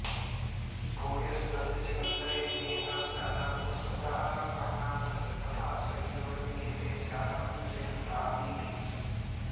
भूयस्तस्य च कन्धरे विनिहितः स्यादापवत्सस्तथा पह्नात तस्य तथांसयोर्विनिहिते स्यातां जयन्तादिती